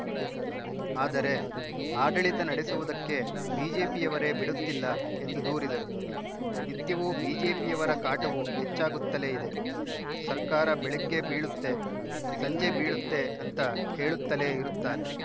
ಆದರೆ ಆಡಳಿತ ನಡೆಸುವುದಕ್ಕೆ ಬಿಜೆಪಿಯವರೇ ಬಿಡುತ್ತಿಲ್ಲ ಎಂದು ದೂರಿದರು ನಿತ್ಯವೂ ಬಿಜೆಪಿಯವರ ಕಾಟವು ಹೆಚ್ಚಾಗುತ್ತಲೇ ಇದೆ ಸರ್ಕಾರ ಬೆಳಗ್ಗೆ ಬೀಳುತ್ತೆ ಸಂಜೆ ಬೀಳುತ್ತೆ ಅಂತಾ ಹೇಳುತ್ತಲೇ ಇರುತ್ತಾರೆ